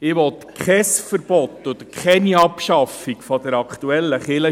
Ich will kein Verbot oder keine Abschaffung der aktuellen Kirchensteuer.